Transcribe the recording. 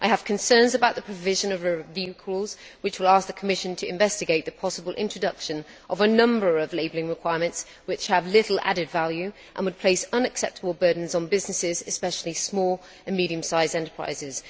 I have concerns about the provision of a review clause which will ask the Commission to investigate the possible introduction of a number of labelling requirements which have little added value and would place unacceptable burdens on businesses, especially small and medium sized enterprises.